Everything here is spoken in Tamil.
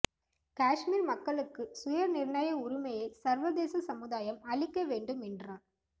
காஷ்மீா் மக்களுக்கு சுயநிர்ணய உரிமையை சா்வதேச சமுதாயம் அளிக்க வேண்டும் என்றார்